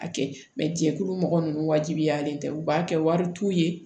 A kɛ jɛkulu mɔgɔ nunnu wajibiyalen tɛ u b'a kɛ wari t'u ye